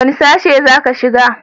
wani sashi za ka shiga